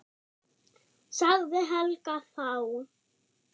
sagði Helga þá.